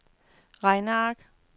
regneark